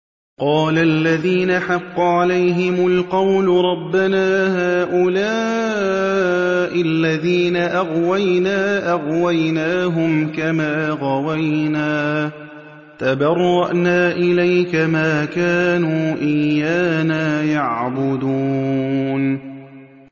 قَالَ الَّذِينَ حَقَّ عَلَيْهِمُ الْقَوْلُ رَبَّنَا هَٰؤُلَاءِ الَّذِينَ أَغْوَيْنَا أَغْوَيْنَاهُمْ كَمَا غَوَيْنَا ۖ تَبَرَّأْنَا إِلَيْكَ ۖ مَا كَانُوا إِيَّانَا يَعْبُدُونَ